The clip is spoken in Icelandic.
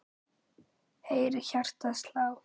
heyri hjartað slá.